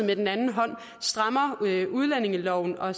med den anden hånd strammer udlændingeloven og